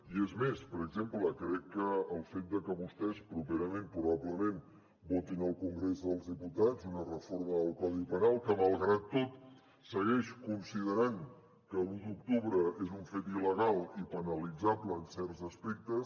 i és més per exemple crec que el fet de que vostès properament probablement votin al congrés dels diputats una reforma del codi penal que malgrat tot segueix considerant que l’un d’octubre és un fet il·legal i penalitzable en certs aspectes